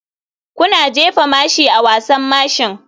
Kuna jefa mashi a wasan mashin?